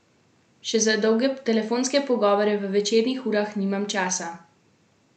Še za dolge telefonske pogovore v večernih urah nimam časa.